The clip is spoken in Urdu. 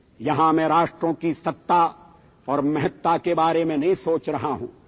''یہاںمیں قوموں کی حکومت اور اہمیت کے بارے میں نہیں سوچ رہا ہوں